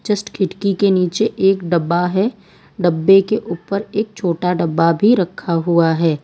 Just खिड़की के नीचे एक डब्बा है डब्बे के ऊपर एक छोटा डब्बा भी रखा हुआ है।